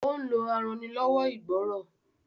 ó ń lo arannilọ́wọ́ ìgbọ́rọ̀.